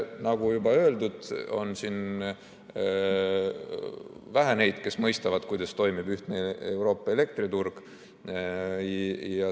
Nagu juba öeldud, on siin vähe neid, kes mõistavad, kuidas toimib ühtne Euroopa elektriturg.